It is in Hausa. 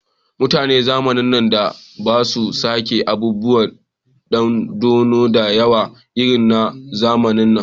Mutanen zamanin da ba su saka abubuwan dandano da yawa irin na zamanin nan